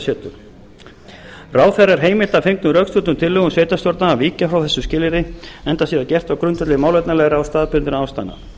setur ráðherra er heimilt að fengnum rökstuddum tillögum sveitarstjórnar að víkja frá þessu skilyrði enda sé það gert á grundvelli málefnalegra og staðbundinna ástæðna